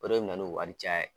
O de bi na n'o wari caya ye.